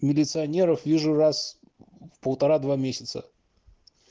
милиционеров вижу раз в полтора два месяца